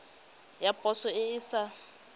ya poso e e sa